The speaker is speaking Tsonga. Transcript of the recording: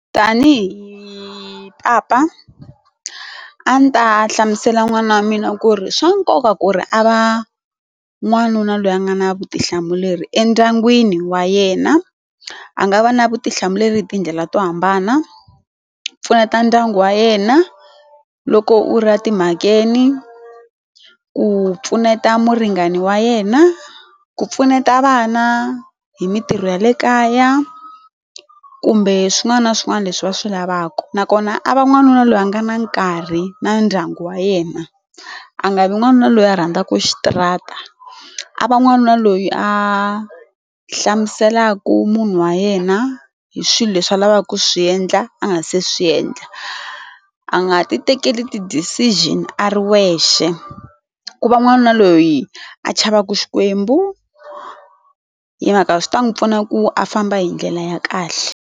Tanihi papa, a ndzi ta hlamusela n'wana wa mina ku ri swa nkoka ku ri a va n'wanuna loyi a nga na vutihlamuleri endyangwini wa yena. A nga va na vutihlamuleri tindlela to hambana ku pfuneta ndyangu wa yena loko u ri timhakeni, ku pfuneta muringani wa yena, ku pfuneta vana hi mitirho ya le kaya, kumbe swin'wana na swin'wana leswi va swi lavaka nakona a va n'wanuna loyi a nga na nkarhi na ndyangu wa yena a nga vi n'wanuna loyi a rhandzaka xitarata a va n'wanuna loyi a hlamuselaku munhu wa yena hi swilo leswi a lavaka ku swiendla a nga se swiendla a nga ti tekeli ti decision a ri wexe ku va n'wanuna loyi a chavaku xikwembu hi mhaka swi ta n'wi pfuna ku a famba hi ndlela ya kahle.